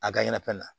A ka ɲanafɛn na